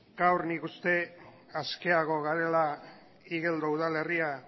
gaur nik uste askeago garela igeldo udalerria